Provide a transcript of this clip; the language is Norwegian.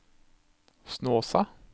Snåsa